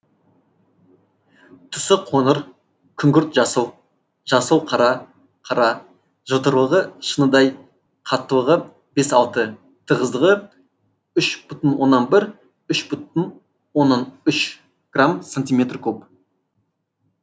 түсі қоңыр күңгірт жасыл жасыл қара қара жылтырлығы шыныдай қаттылығы бес алты тығыздығы үш бүтін оннан бір үш бүтін оннан үш грамм сантиметр куб